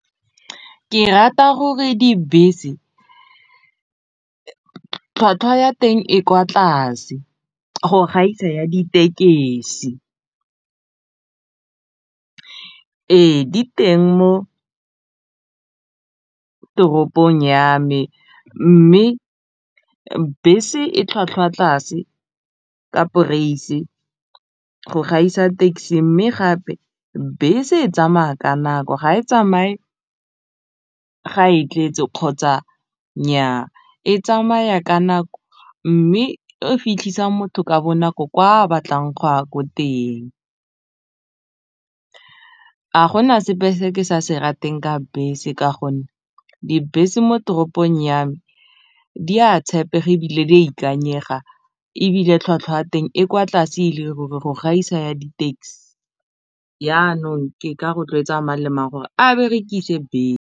Ke rata gore dibese tlhwatlhwa ya teng e kwa tlase go gaisa ya ditekesi ee di teng mo toropong ya me mme bese e tlhwatlhwa tlase ka go gaisa taxi mme gape bese e tsamaya ka nako ga e tsamaye ga e tletse kgotsa nnyaa e tsamaya ka nako mme e fitlhisa motho ka bonako kwa a batlang go ya ko teng a go na sepe se ke sa se rateng ka bese ka gonne dibese mo toropong ya me di a tshepega ebile di a ikanyega ebile tlhwatlhwa ya teng e kwa tlase e le ruri go gaisa ya di taxi yanong ke ka rotloetsa malema a gore a berekise